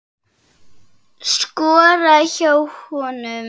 Skora hjá honum??